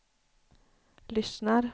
lyssnar